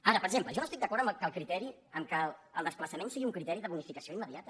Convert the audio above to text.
ara per exemple jo no estic d’acord que el desplaçament sigui un criteri de bonificació immediata